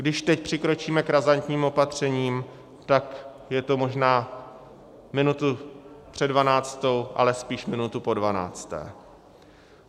Když teď přikročíme k razantním opatřením, tak je to možná minutu před dvanáctou, ale spíše minutu po dvanácté.